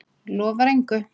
Lofar engu.